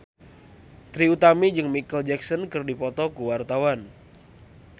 Trie Utami jeung Micheal Jackson keur dipoto ku wartawan